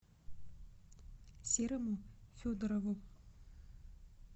серому федорову